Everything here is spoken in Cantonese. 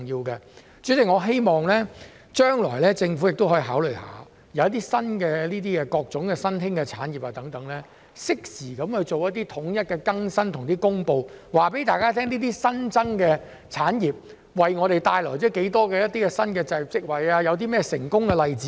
代理主席，我希望政府將來可以考慮一點，便是當各種新興產業取得發展時，可以適時統一作出更新和公布，讓大家知道有關產業為香港帶來多少新的就業職位或有何成功例子等。